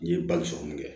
N ye bali sɔrɔ min kɛ